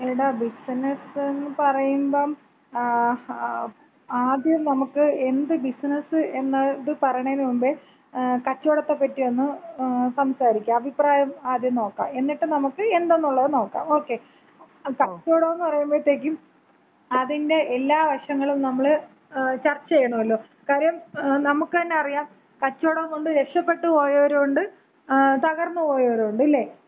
എടാ ബിസിനസന്ന് പറയുമ്പം, ആദ്യം നമുക്ക് എന്ത് ബിസ്നസ് എന്നത് പറയണേന് മുമ്പേ കച്ചോടത്തെപ്പറ്റിയൊന്ന് സംസാരിക്കാം. അഭിപ്രായം ആദ്യം നോക്കാം. എന്നിട്ട് നമക്ക് എന്തെന്നൊള്ളത് നോക്കാം. ഓകെ? അപ്പോ കച്ചോടംന്ന് പറയുമ്പഴത്തേക്കും അതിന്‍റെ എല്ലാ വശങ്ങളും നമ്മള് ചർച്ച ചെയ്യണോല്ലോ? കാര്യം നമക്ക് തന്നെ അറിയാം കച്ചോടം കൊണ്ട് രക്ഷപ്പെട്ട് പോയവരും ഉണ്ട് തകർന്ന് പോയവരും ഉണ്ട്. ഇല്ലേ?